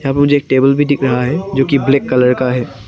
यहां पर मुझे टेबल भी दिख रहा है जोकि ब्लैक कलर का है।